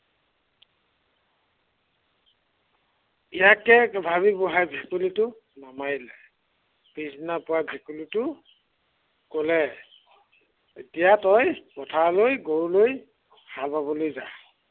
ইয়াকে ভাবি বুঢ়াই ভেকুলীটো নামাৰিলে। পিছদিনা পুৱা ভেকুলীটো, কলে, এতিয়া তই পথাৰলৈ গৰু লৈ হাল বাৱলৈ যা।